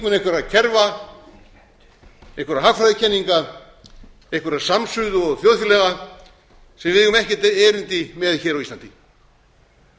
eru þeir þingmenn einhverra kerfa einhverra hagfræðikenninga einhverrar samsuðu og þjóðfélaga sem við eigum ekkert erindi með hér á